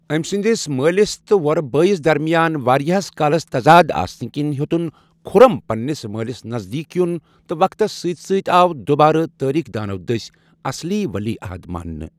أمۍ سٕنٛدِس مٲلِس تہٕ وۄرٕ بٲیِس درمِیان واریاہس کالس تضاد آسنہٕ کِنۍ ہیوٚتن خُرم پنٛنِس مٲلِس نزدیٖک یُن، تہٕ وقتس سۭتۍ سۭتۍ آو دوٚبارٕ تٲریٖخ دانو دٔسۍ اصلی ولی عہد مانٛنہٕ۔